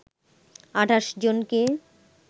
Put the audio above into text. ২৮ জনকে